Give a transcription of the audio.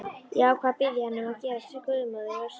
Ég ákvað að biðja hana um að gerast guðmóðir verksins.